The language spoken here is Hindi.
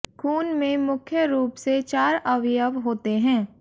खून में मुख्य रूप से चार अवयव होते है